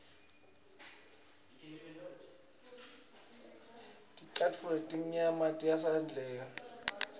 ticatfulo letimnyama tiyatsandleka